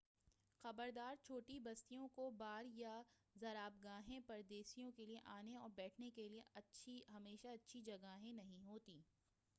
خبردار چھوٹی بستیوں کے بار یا زرابگاہیں پردیسیوں کے لیے آنے اور بیٹھنے کے لیے ہمیشہ اچھی جگہیں نہیں ہوتیں